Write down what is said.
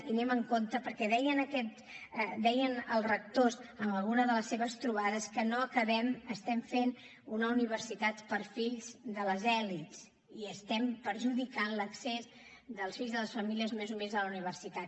i anem amb compte perquè deien els rectors en alguna de les seves trobades que estem fent una universitat per a fills de les elits i estem perjudicant l’accés dels fills de les famílies més humils a la universitat